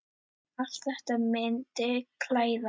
Allt þetta myndi klæða